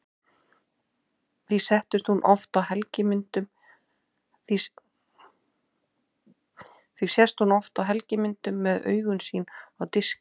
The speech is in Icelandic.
Því sést hún oft á helgimyndum með augu sín á diski.